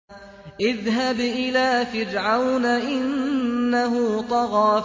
اذْهَبْ إِلَىٰ فِرْعَوْنَ إِنَّهُ طَغَىٰ